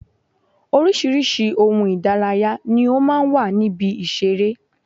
Oríṣiríṣi ohun Ìdárayá ni ó máa ń wà ní ibi ìṣeré